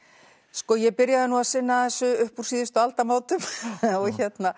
sko ég byrjaði nú að sinna þessu upp úr síðustu aldamótum og